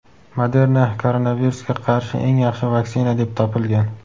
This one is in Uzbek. Moderna koronavirusga qarshi eng yaxshi vaksina deb topilgan.